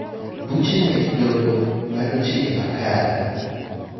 Buche mek doho ng'ado chike makare.